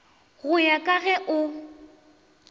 go ya ka ge o